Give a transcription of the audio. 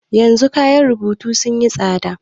Yanzu kayan rubutu sun yi tsada.